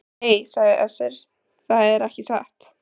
Nei, sagði Össur, það er ekki satt.